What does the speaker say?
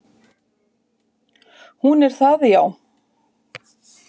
Hún er það, já.